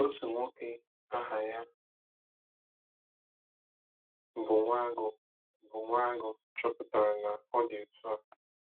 Otu nwoke aha ya bụ Nwagu bụ Nwagu chọpụtara na ọ dị otu a.